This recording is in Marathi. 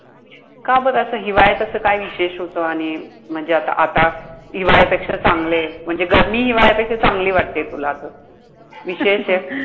का बरं असं? हिवाळ्यात असं काय विशेष होतं? आणि म्हणजे आत आता हिवाळ्यापेक्षा चांगलंय. म्हणजे गरमी हिवाळ्यापेक्षा चांगली वाटते तुला तर. विशेषए